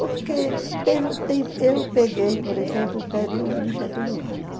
Porque teve um eu peguei, por exemplo, o período do Getúlio Vargas.